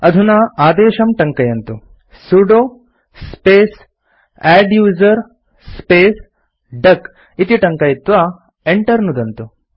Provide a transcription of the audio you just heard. अधुना आदेशं टङ्कयन्तु160 sudo space adduser space duck इति टङ्कयित्वा Enter नुदन्तु